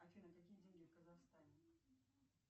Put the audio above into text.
афина какие деньги в казахстане